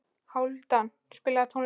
Hálfdan, spilaðu tónlist.